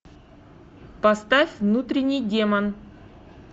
поставь внутренний демон